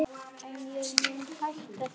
En ég mun hætta því.